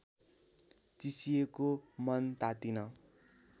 चिसिएको मन तातिन